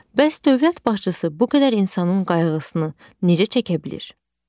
Bəs dövlət başçısı bu qədər insanın qayğısını necə çəkə bilir?